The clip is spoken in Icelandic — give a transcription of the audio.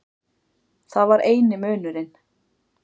Það var eini munurinn.